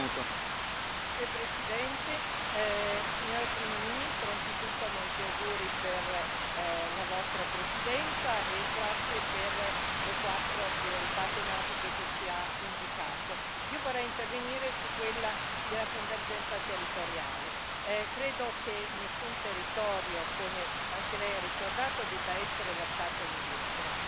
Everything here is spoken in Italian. Signor Presidente, onorevoli colleghi, Signora primo ministro, anzitutto molti auguri per la Sua Presidenza, e grazie per le quattro priorità tematiche che ci ha indicato. Io vorrei intervenire su quella della convergenza territoriale. Credo che nessun territorio, come anche Lei ha ricordato, debba essere lasciato indietro.